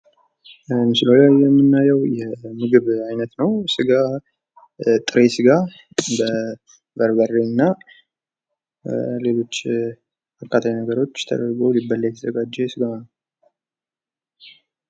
ምስሉ ላይ የምናየው የምግብ ዓይነት ነው። ስ ጋ ጥሬ ስጋ በርበሬ እና ሌሎች አቃጣይ ነገሮች ተደርጎ ሊበላ የተዘጋጀ ስጋ ነው።